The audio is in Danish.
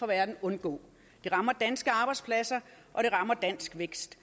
verden undgå det rammer danske arbejdspladser og det rammer dansk vækst